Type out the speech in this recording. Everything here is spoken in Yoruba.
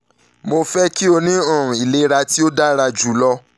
mo fẹ ki o ni um ilera ti o dara julọ